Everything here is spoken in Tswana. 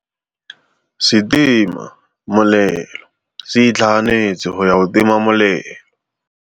Setima molelô se itlhaganêtse go ya go tima molelô.